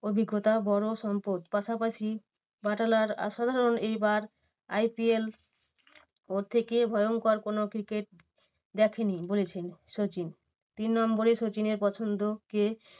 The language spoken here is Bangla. অভিজ্ঞতা বড় সম্পদ পাশাপাশি বাটলার অসাধারণ এইবার IPL পর থেকে ভয়ঙ্কর কোনো cricket দেখেনি বলেছেন সচিন। তিন নম্বরে সচিনের পছন্দ কে?